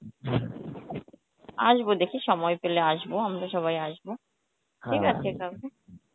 আসবো দেখি সময় পেলে আসবো আমরা সবাই আসব কাকু